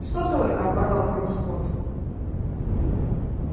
что только оборвал его скотт